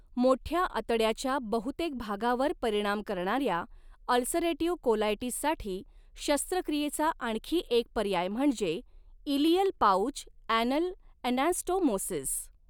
मोठ्या आतड्याच्या बहुतेक भागावर परिणाम करणाऱ्या अल्सरेटिव्ह कोलायटिससाठी शस्त्रक्रियेचा आणखी एक पर्याय म्हणजे इलियल पाउच ॲनल ॲनास्टोमोसिस.